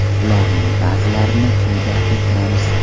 Ularning ba’zilarini quyida keltiramiz.